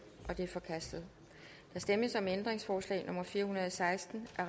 det er forkastet der stemmes om ændringsforslag nummer fire hundrede og seksten af